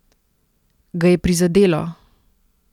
Ga je prizadelo?